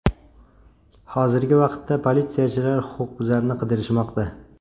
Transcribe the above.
Hozirgi vaqtda politsiyachilar huquqbuzarni qidirishmoqda.